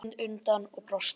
Ég sneri mér undan og brosti.